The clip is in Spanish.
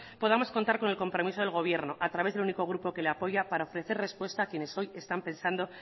podamos contar con el compromiso del gobierno a través del único grupo que le apoya para ofrecer respuesta a quienes hoy están pensando